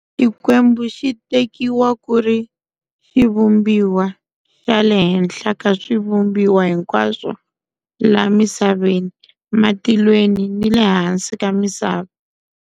Xikwembu xitekiwa kuri Xivumbiwa xale henhla ka swivumbiwa hinkwaswo la misaveni, matilweni nile hansi ka misava.